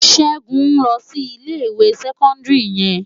Segun n lò si Ilé iwé sèkòndiri yèn